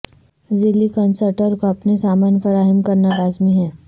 ذیلی کنسرٹر کو اپنے سامان فراہم کرنا لازمی ہے